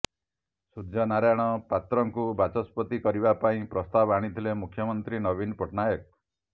ସୂର୍ଯ୍ୟନାରାୟଣ ପାତ୍ରଙ୍କୁ ବାଚସ୍ପତି କରିବା ପାଇଁ ପ୍ରସ୍ତାବ ଆଣିଥିଲେ ମୁଖ୍ୟମନ୍ତ୍ରୀ ନବୀନ ପଟ୍ଟନାୟକ